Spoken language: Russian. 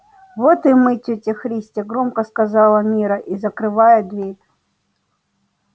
вот и мы тётя христя громко сказала мирра и закрывая дверь